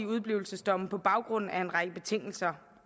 udeblivelsesdomme på baggrund af en række betingelser